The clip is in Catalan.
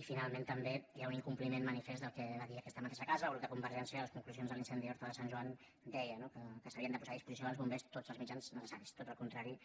i finalment també hi ha un incompliment manifest del que es va dir en aquesta mateixa casa el grup de convergència a les conclusions de l’incendi d’horta de sant joan que deia no que s’havien de posar a disposició dels bombers tots els mitjans necessaris tot el contrari